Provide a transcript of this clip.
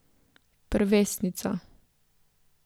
Prvesnica.